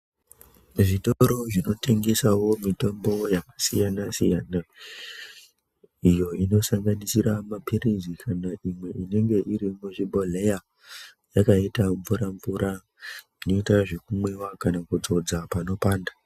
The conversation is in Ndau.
Zvitoro zvinotingesawo mitombo yakasiyanasiyana iyo inosanganisira mapirizi kana imwe inenge iri muzvibhodhleya yakaita mvuramvura inoita zvekumwiwa kana kudzodza panopanda.